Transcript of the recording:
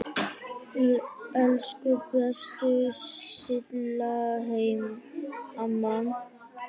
Elsku besta Silla amma.